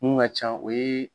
Mun ka can o ye